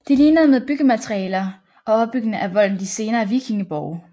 De ligner med byggematerialer og opbygningen af volden de senere vikingeborge